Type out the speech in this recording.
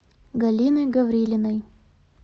галиной гаврилиной